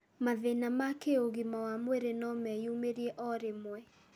Mathĩĩna ma kĩũgima wa mwĩrĩ no meyumĩrie o rĩmwe.